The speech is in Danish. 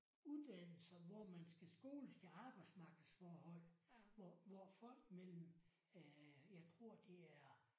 Uddannelser hvor man skal skoles til arbejdsmarkedsforhold. Hvor hvor folk mellem øh jeg tror det er